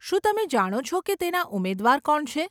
શું તમે જાણો છો કે તેના ઉમેદવાર કોણ છે?